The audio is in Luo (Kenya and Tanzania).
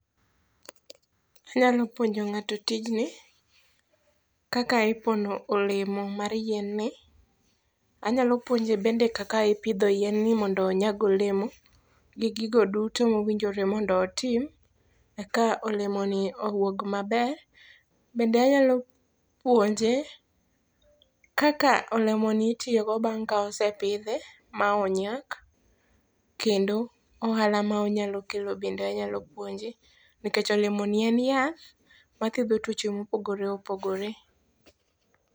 Inyalo puonjo ng'ato tijni kaka ipono olemo mar yien ni. Anyalo puonje bende kaka ipidho yien ni mondo onyag olemo gi gigo duto mowinjore mondo otim eka olemo ni owuog maber. Bende anyalo puonje kaka olemoni itiyogo bang' ka osepidhe ma onyak. Kendo ohala monyalo kelo be anyalo puonje. Nikech olemo ni en yath mathiedho tuoche mopogore opogore.